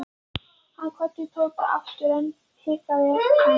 Hann kvaddi Tóta aftur EN en hikaði enn.